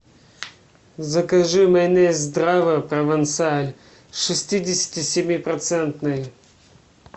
закажи майонез здрава провансаль шестидесяти семи процентный